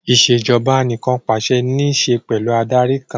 Ìṣèjoba Anìkànpàṣẹ ní ṣe pẹ̀lú Adarí kan